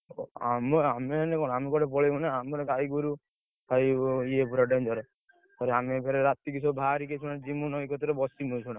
ଆମେ~ ଆମେ ଏଇନେ କଣ ଆମେ କୁଆଡେ ପଳେଇବୁ ନା ଆମର ଗାଈଗୋରୁ, ଭାଇ ଇଏ ପୁରା danger ଆମେ ଫେରେ ରାତିକି ସବୁ ବାହାରିକି ଯିବୁ ନଈ କତିରେ ବସିବୁ ଏଇକ୍ଷିଣା।